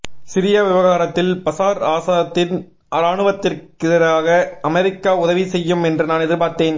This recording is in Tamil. சிரியா விவகாரத்தில் பசார் ஆசாத்தின் ராணுவத்திற்கெதிராக அமெரிக்கா உதவி செய்யும் என்று நான் எதிர்பார்த்தேன்